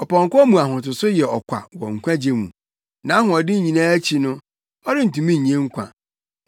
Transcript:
Ɔpɔnkɔ mu ahotoso yɛ ɔkwa wɔ nkwagye mu; nʼahoɔden nyinaa akyi no, ɔrentumi nnye nkwa.